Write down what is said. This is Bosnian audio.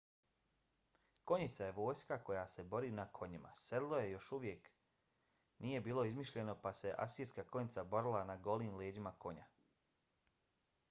konjica je vojska koja se bori na konjima. sedlo još uvijek nije bilo izmišljeno pa se asirska konjica borila na golim leđima konja